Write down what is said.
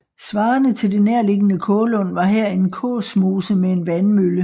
Svarende til det nærliggende Kålund var her en Kåsmose med en vandmølle